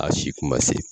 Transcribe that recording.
A si kuma se